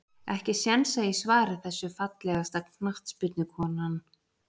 Ekki séns að ég svari þessu Fallegasta knattspyrnukonan?